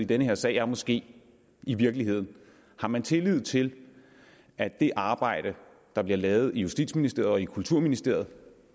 den her sag er måske i virkeligheden har man tillid til at det arbejde der bliver lavet i justitsministeriet og i kulturministeriet